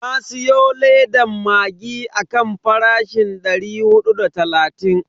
Na siyo ledan maggi akan farashin dari hudu da talatin.